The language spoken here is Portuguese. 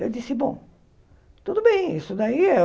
Eu disse, bom, tudo bem isso daí.